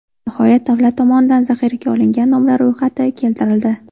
Nihoyat, davlat tomonidan zaxiraga olingan nomlar ro‘yxati keltirildi.